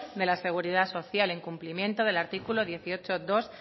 de la seguridad social en cumplimiento del artículo dieciocho punto dos